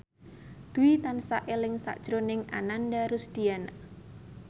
Dwi tansah eling sakjroning Ananda Rusdiana